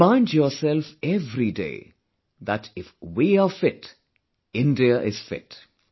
Remind yourself every day that if we are fit India is fit